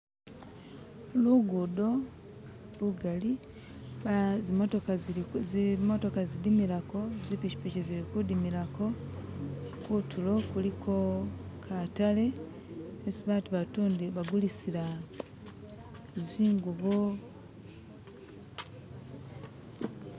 Lugudo lugali zimotoka zidimilako, zipikipiki zili kudimilako, kuntulo kuliko katale kesi abantu batundilako zingubo